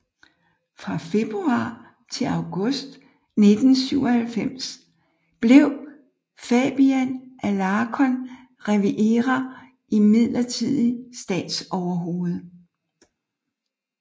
Fra februar til august 1997 blev Fabian Alarcon Rivera midlertidig statsoverhoved